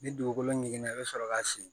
Ni dugukolo ɲiginna i bɛ sɔrɔ k'a siyɛn